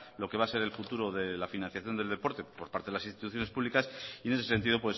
lo que va a ser el futuro de la financiación del deporte por parte de las instituciones públicas y en ese sentido